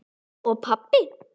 Og pabba.